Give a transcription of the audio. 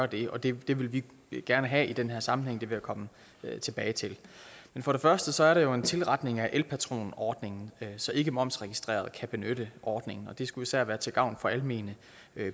det og det vil vi gerne have i den her sammenhæng vil jeg komme tilbage til for det første sig om en tilretning af elpatronordningen så ikkemomsregistrerede kan benytte ordningen det skulle især være til gavn for almene